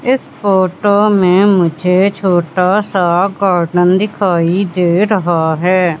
इस फोटो में मुझे छोटा सा गार्डन दिखाई दे रहा है।